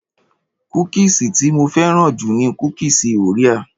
Kúkìsì tí mo fẹ́ràn jù ni kúkùsì Orea.